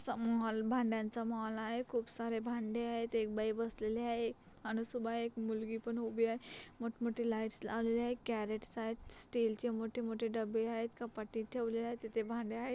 चा मॉल भांड्यांचा मॉल आहे खूप सारे भांडे आहेत एक बाई बसलेली आहे आणि सुधा एक मुगली पण उभी आहे मोठ मोठे लाइट्स लावलेले आहेत करेट्स आहेत स्टीलचे मोठ मोठे डब्बे आहेत कपाटीत ठेवलेले आहेत तिथ भांडे आहेत.